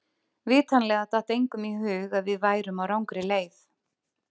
Vitanlega datt engum í hug að við værum á rangri leið.